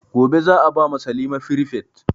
Gobe za a ba ma salima firifet